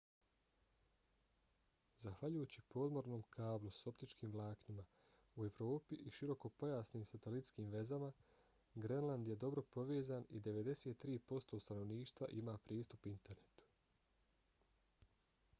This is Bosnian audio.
zahvaljujući podmornom kablu s optičkim vlaknima u evropi i širokopojasnim satelitskim vezama grenland je dobro povezan i 93% stanovništva ima pristup internetu